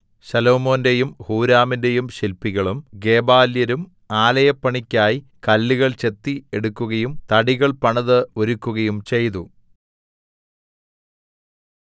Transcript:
ശലോമോന്റെയും ഹൂരാമിന്റെയും ശില്പികളും ഗെബാല്യരും ആലയപ്പണിക്കായി കല്ലുകൾ ചെത്തി എടുക്കുകയും തടികൾ പണിത് ഒരുക്കുകയും ചെയ്തു